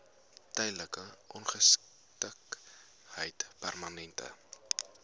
tydelike ongeskiktheid permanente